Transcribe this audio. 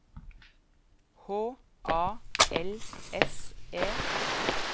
H A L S E